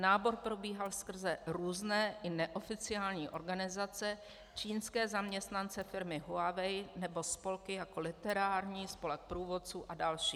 Nábor probíhal skrze různé i neoficiální organizace, čínské zaměstnance firmy Huawei nebo spolky, jako literární, spolek průvodců a další.